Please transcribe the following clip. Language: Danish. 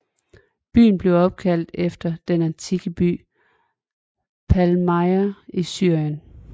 Byen er opkaldt efter den antikke by Palmyra i Syrien